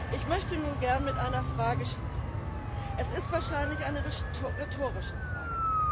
Ich möchte nun gern mit einer Frage schließen es ist wahrscheinlich eine rhetorische Frage.